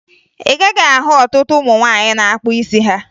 Ị gaghị ahụ ọtụtụ ụmụ nwaanyị na-akpụ isi ha